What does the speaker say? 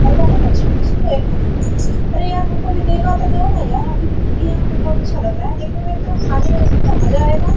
और बहुत अच्छा खुशबू है खाना का अरे यार हमको भी देगा तो दो ना यार हम भी खाएंगे यहां पर बहुत अच्छा लग रहा है देखने में ही तो खाने में कितना मजा आएगा।